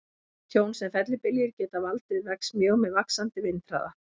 Tjón sem fellibyljir geta valdið vex mjög með vaxandi vindhraða.